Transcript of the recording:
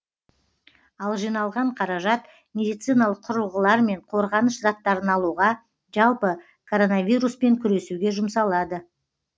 ал жиналған қаражат медициналық құрылғылар мен қорғаныш заттарын алуға жалпы коронавируспен күресуге жұмсалады